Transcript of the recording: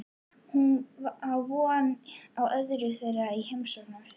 Hún á von á öðrum þeirra í heimsókn á eftir.